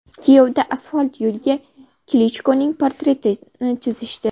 Kiyevda asfalt yo‘lga Klichkoning portretini chizishdi.